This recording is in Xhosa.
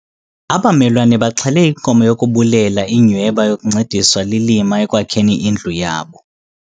Abamelwana baxhele inkomo yokubulela inyhweba yokuncediswa lilima ekwakheni indlu yabo.